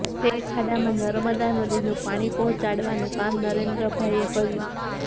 તે ખાડામાં નર્મદા નદીનું પાણી પહોંચાડવાનું કામ નરેન્દ્રભાઈએ કર્યું